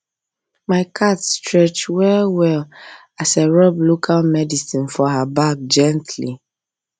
my cat stretch well well as i rub local medicine for her back gently